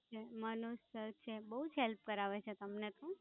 Manoj sir છે, બહુ જ Help કરાવે છે તમને પણ.